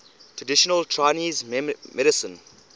traditional chinese medicine